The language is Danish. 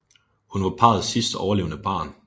Hun var parrets sidst overlevende barn